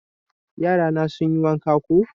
Yara na sun yi wanka koh